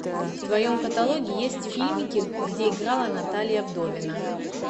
в твоем каталоге есть фильмики где играла наталия вдовина